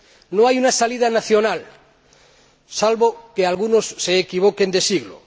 No hay una salida nacional, salvo que algunos se equivoquen de siglo.